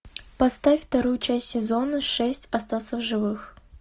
поставь вторую часть сезона шесть остаться в живых